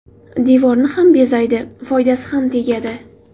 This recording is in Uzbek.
Devorni ham bezaydi, foydasi ham tegadi.